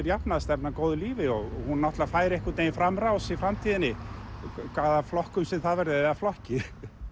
jafnaðarstefnan góðu lífi og hún náttúrulega fær einhvern veginn framrás í framtíðinni í hvaða flokkum sem það verður eða flokki